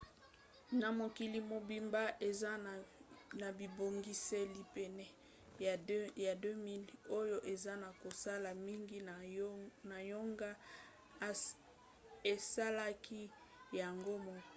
na mokili mobimba eza na bibongiseli pene ya 200 oyo eza na kosala. mingi na yango esalaka yango moko